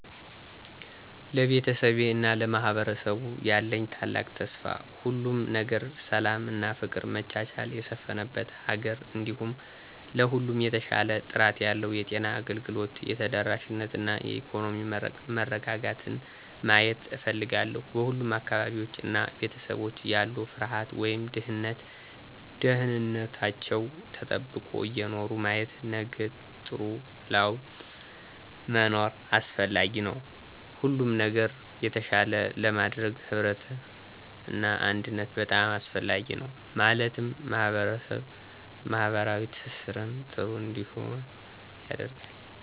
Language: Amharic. ለቤተሰቤ እና ለማህበረሰቡ ያለኝ ታላቅ ተስፋ ሁሉም ነገር ሰላም እና ፍቅር መቻቻል የሰፍነበት ሀገር እንዲሁም ለሁሉም የተሻሻለ ጥራት ያለው የጤና አገልግሎት ተደራሽነት እና የኢኮኖሚ መረጋጋትን ማየት እፍልጋለሁ። በሁሉም አካባቢዎች እና ቤተሰቦች ያለ ፍርሃት ወይም ድህነት ደህንንታችው ተጠብቆ እየኖሩ ማየት። ነገጥሩ ላወጥ መኖር አሰፍላጊ ነዉ ሁሉም ነገር ነገ የተሻለ ለማድረግ ህብረት እና አንድነት በጣም አሰፍላጊ ነው ማለትም ማህበራዊ ትሰሰርን ጥሩ እንዲሆን ያደርጋል።